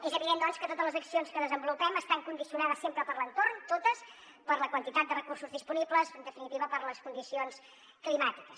és evident doncs que totes les accions que desenvolupem estan condicionades sempre per l’entorn totes per la quantitat de recursos disponibles en definitiva per les condicions climàtiques